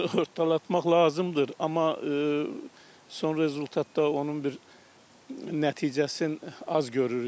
Sığortalatmaq lazımdır, amma son rezultatda onun bir nəticəsin az görürük.